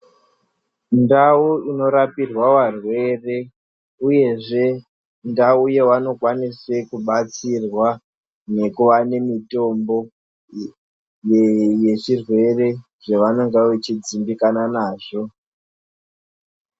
Ndau inorapirwa varwere uyezve ndau yewanokwanise kubatsirwa nekuwane mitombo yezvirwere zvevanonga vechidzimbikana nazvo.